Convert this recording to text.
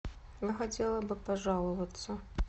я хотела бы пожаловаться